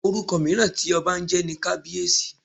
Orúkọ mìíràn tí ọba ń jẹ́ ni Kabiyesi.